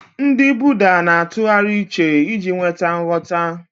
Ndị Buddha na-atụgharị uche iji nweta nghọta.